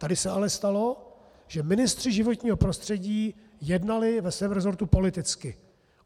Tady se ale stalo, že ministři životního prostředí jednali ve svém rezortu politicky.